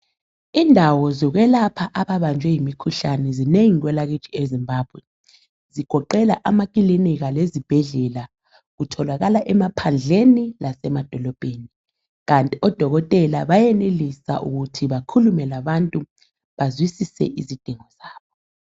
Indawo zokwelapha ababanjwe yimikhuhlane zinengi kwelakithi eZimbabwe, zigoqela amakilinika lezibhedlela, kutholakala emaphandleni lasemadolobheni, kanti odokotela bayenelisa ukuthi bakhulume labantu bazwisise izidingo zabo.